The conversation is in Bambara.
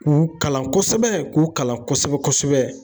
K'u kalan kosɛbɛ, k'u kalan kosɛbɛ kosɛbɛ.